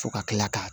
Fo ka kila ka